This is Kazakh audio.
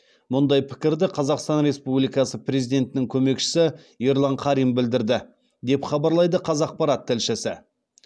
мұндай пікірді қазақстан республикасы президентінің көмекшісі ерлан қарин білдірді деп хабарлайды қазақпарат тілшісі